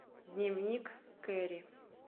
дневник кэрри